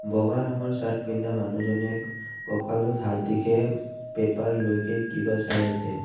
বগা ৰঙৰ শ্বাৰ্ট পিন্ধা মানুহজনে কঁকালত হাতদিকে পেপাৰলৈকে কিবা চাই আছে।